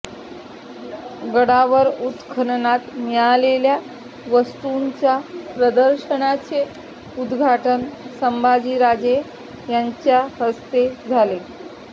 गडावर उत्खननात मिळालेल्या वस्तूंच्या प्रदर्शनाचे उद्घाटन संभाजीराजे यांच्या हस्ते झाले